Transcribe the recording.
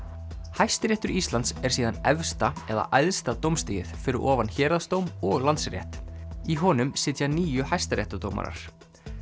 Hæstiréttur Íslands er síðan efsta eða æðsta dómstigið fyrir ofan héraðsdóm og Landsrétt í honum sitja níu hæstaréttardómarar